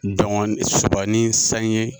Dɔngɔn Soba ni Saɲe